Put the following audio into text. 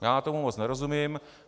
Já tomu moc nerozumím.